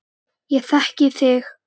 Ég þekki þig